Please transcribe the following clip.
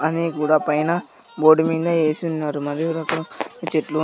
అని కూడా పైన బోర్డు మింద యేసి ఉన్నారు మరియు రకర చెట్లు--